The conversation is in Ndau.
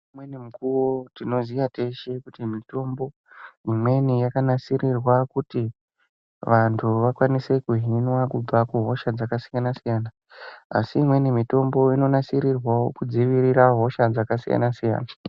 Ngeimweni mikuwo tinoziya teshe kuti mitombo imweni, yakanasirirwa kuti, vantu vakwanise kuhinwa kubva kuhosha dzakasiyana-siyana, asi imweni mitombo inonasirirwawo kudzivirira hosha dzakasiyana-siyana.